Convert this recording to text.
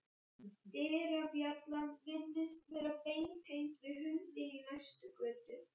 Dyrabjallan virðist vera beintengd við hundinn í næstu götu.